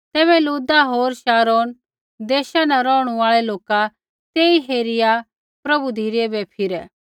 तैबै लुद्दा होर शारोन देशा न रौहणु आल़ै लोका तेई हेरिआ प्रभु धिरै बै फिरै